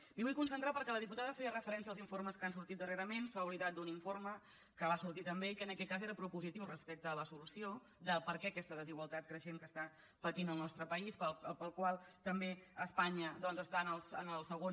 m’hi vull concentrar perquè la diputada feia referència als informes que han sortit darrerament s’ha oblidat d’un informe que va sortir també i que en aquest cas era propositiu respecte a la solució del perquè d’aquesta desigualtat creixent que està patint el nostre país pel qual també a espanya doncs estan en el segon